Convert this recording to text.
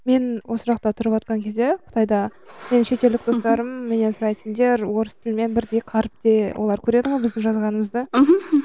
мен осы жақта тұрыватқан кезде қытайда менің шетелдік достарым менен сұрайтын сендер орыс тілмен қаріпте олар көреді ғой біздің жазғанымызды мхм